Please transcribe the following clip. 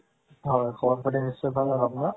হয় খবৰপাতি নিশ্চয় ভাল আৰু আপোনাৰ